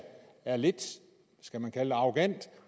er lidt skal man kalde det arrogant